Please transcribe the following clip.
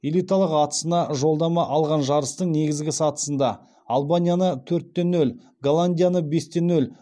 элиталық атысына жолдама алған жарыстың негізгі сатысында албанияны төрт те нөл голландияны бес те нөл